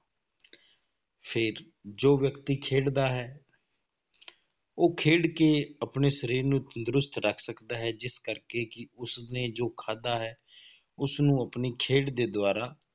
ਫਿਰ ਜੋ ਵਿਅਕਤੀ ਖੇਡਦਾ ਹੈ ਉਹ ਖੇਡ ਕੇ ਆਪਣੇ ਸਰੀਰ ਨੂੰ ਤੰਦਰੁਸਤ ਰੱਖ ਸਕਦਾ ਹੈ, ਜਿਸ ਕਰਕੇ ਕਿ ਉਸ ਨੇ ਜੋ ਖਾਧਾ ਹੈ, ਉਸਨੂੰ ਆਪਣੀ ਖੇਡ ਦੇ ਦੁਆਰਾ